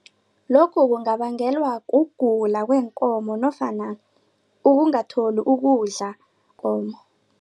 Lokhu kungabangelwa kugula weenkomo nofana ukungatholi ukudla